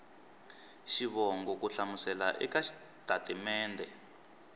xivongo ku hlamusela eka xitatimede